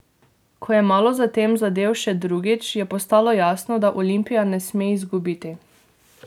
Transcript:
Ko je malo za tem zadel še drugič, je postalo jasno, da Olimpija ne sme izgubiti.